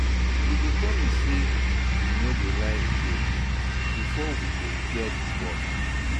You go promise sey you no go lie again before we go repair di bond.